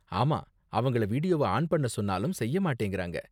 ஆமா, அவங்கள வீடியோவ ஆன் பண்ண சொன்னாலும் செய்ய மாட்டேங்கறாங்க.